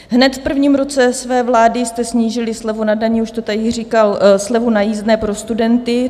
Hned v prvním roce své vlády jste snížili slevu na dani - už to tady říkal - slevu na jízdné pro studenty.